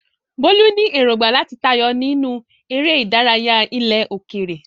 Bolu ní èrògbà láti tayọ nínú eré ìdárayá ilẹ̀ òkèèrè.